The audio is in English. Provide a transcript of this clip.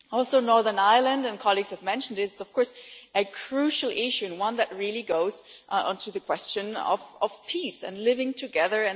On Northern Ireland, as colleagues have mentioned, this is of course a crucial issue that really goes into the question of peace and living together.